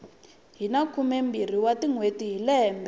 hina khumembirhi wa tinhweti hi lembe